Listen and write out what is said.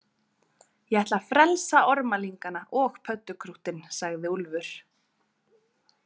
Ég ætla að frelsa ormalingana og pöddukrúttin, sagði Úlfur.